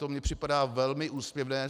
To mi připadá velmi úsměvné.